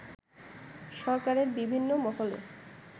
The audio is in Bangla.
সরকারের বিভিন্ন মহলে